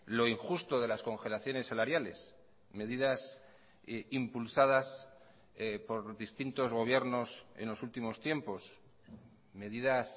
lo injusto de las congelaciones salariales medidas impulsadas por distintos gobiernos en los últimos tiempos medidas